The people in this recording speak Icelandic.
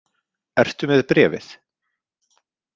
Ertu með bréfið?